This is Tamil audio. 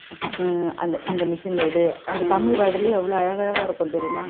ஆஹ் இந்த machine எ எடு அந்த தமிழ் word லையே எவ்வளவு அழகழகா இருக்கும் தெரியுமா